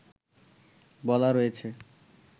বলা রয়েছে